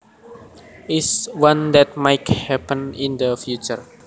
is one that might happen in the future